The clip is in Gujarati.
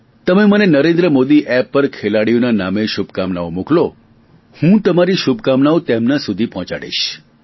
તમે મને નરેન્દ્ર મોદી એપ પર ખેલાડીઓના નામે શુભકામનાઓ મોકલો હું તમારી શુભકામનાઓ તેમના સુધી પહોંચાડીશ